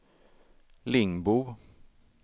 Lingbo